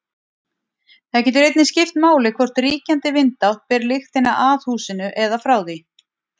Það getur einnig skipt máli hvort ríkjandi vindátt ber lyktina að húsinu eða frá því.